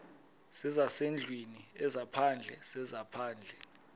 zezasendlwini ezaphandle zezaphandle